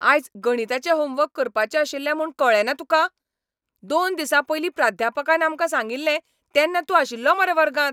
आयज गणिताचें होमवर्क करपाचें आशिल्लें म्हूण कळ्ळेंना तुका? दोन दिसां पयलीं प्राध्यापकान आमकां सांगिल्लें तेन्ना तूं आशिल्लो मरे वर्गांत!